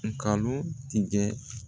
Nkalon tigɛ